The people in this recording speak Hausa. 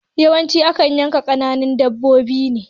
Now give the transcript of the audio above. Yawanci akan yanka kananan dabbobi ne